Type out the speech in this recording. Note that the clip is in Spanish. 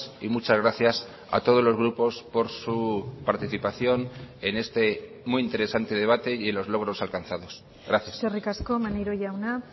y muchas gracias a todos los grupos por su participación en este muy interesante debate y en los logros alcanzados gracias eskerrik asko maneiro jauna